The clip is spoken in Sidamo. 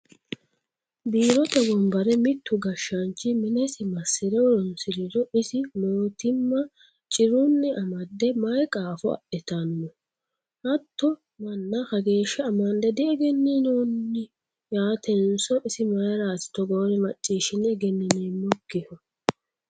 Biirote wombare mitu gashshanchi minesi masire horonsiriro isi mootimma cirunni amade mayi qaafo adhittano, hatto manna kageeshsha amande diegeninonni yaatenso isi mayrati togoore macciishshine egenineemmokkihu ?